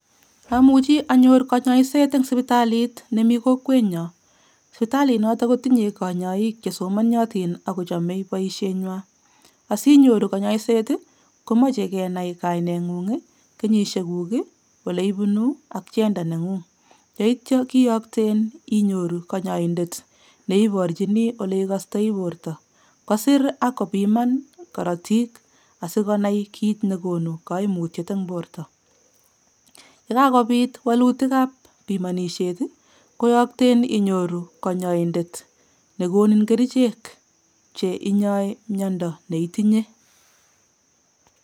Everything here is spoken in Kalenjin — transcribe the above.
Amuchi anyor kanyoiset eng sipitalit nemi kokwenyo, sipitali noto kotinye kanyaik che somaniotin ak kochome boisienwa, asinyoru kanyaiset ii, komoche kenai kainengung ii, kenyisiekuk ii, oleibunu ak gender nengung. Yeityo keyokten inyoru kanyaindet ne iborchini ole ikostoi borta, kosir ak kopiman korotik asi konai kiit ne konu kaimutiet eng borta, ye kakobit walutikab pimonisiet ii, koyokten inyoru konyoindet ne konin kerichek che inyoi miondo ne itinye.